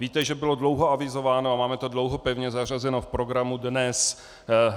Víte, že bylo dlouho avizováno a máme to dlouho pevně zařazeno v programu dnes.